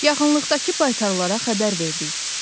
Yaxınlıqdakı baytarlara xəbər verdik.